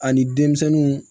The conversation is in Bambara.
Ani denmisɛnninw